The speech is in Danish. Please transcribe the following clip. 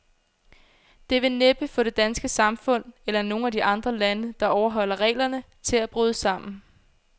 Det vil næppe få det danske samfund, eller nogen af de andre lande, der overholder reglerne, til at bryde sammen.